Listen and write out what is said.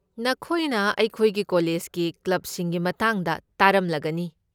ꯅꯈꯣꯏꯅ ꯑꯩꯈꯣꯏꯒꯤ ꯀꯣꯂꯦꯖꯀꯤ ꯀ꯭ꯂꯕꯁꯤꯡꯒꯤ ꯃꯇꯥꯡꯗ ꯇꯥꯔꯝꯂꯒꯅꯤ꯫